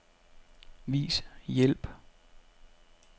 Vis hjælp.